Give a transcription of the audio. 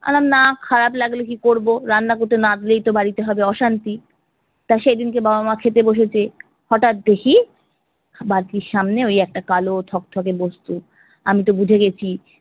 আলম না খারাপ লাগলে কি করবো রান্না করতে না দিলেই তো বাড়িতে হবে অশান্তি। তা সেইদিনকে বাবা মা খেতে বসেছে, হটাত দেখি বালতির সামনে ওই একটা কালো থকথকে বস্তু। আমিতো বুঝে গেছি